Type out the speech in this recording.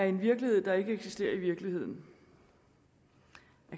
en virkelighed der ikke eksisterer i virkeligheden